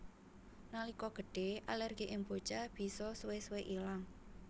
Nalika gedhe alergi ing bocah bisa suwe suwe ilang